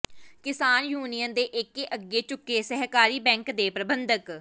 ਕਿਸਾਨ ਯੂਨੀਅਨ ਦੇ ਏਕੇ ਅੱਗੇ ਝੁਕੇ ਸਹਿਕਾਰੀ ਬੈਂਕ ਦੇ ਪ੍ਰਬੰਧਕ